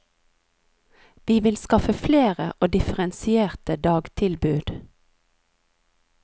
Vi vil skaffe flere og differensierte dagtilbud.